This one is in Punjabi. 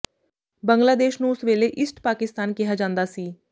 ਬੰਗਲਾਦੇਸ਼ ਨੂੰ ਉਸ ਵੇਲੇ ਈਸਟ ਪਾਕਿਸਤਾਨ ਕਿਹਾ ਜਾਂਦਾ ਸੀ